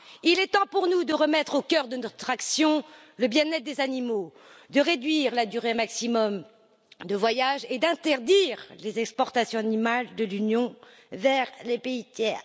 Il est temps pour nous de remettre au cœur de notre action le bien être des animaux, de réduire la durée maximum de voyage et d'interdire les exportations animales de l'Union vers les pays tiers.